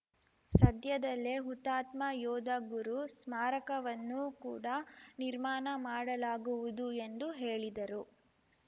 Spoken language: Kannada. ಸದ್ಯದಲ್ಲೇ ಹುತಾತ್ಮ ಯೋಧ ಗುರು ಸ್ಮಾರಕವನ್ನೂ ಕೂಡ ನಿರ್ಮಾಣ ಮಾಡಲಾಗುವುದು ಎಂದು ಹೇಳಿದರು